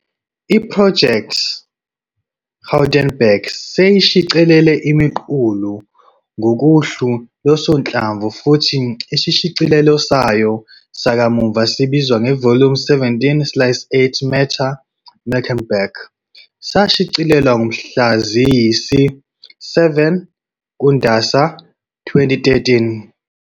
I-Project Gutenberg seyishicilele imiqulu ngokohlu losonhlamvu futhi isishicilelo sayo sakamuva sibizwa "Volume 17 Slice 8- Matter-Mecklenburg" sashicilelwa mhla ziyisi-7 kuNdasa 2013.